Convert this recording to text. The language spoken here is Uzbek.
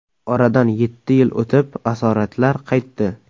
Oradan yetti yil o‘tib asoratlar qaytdi.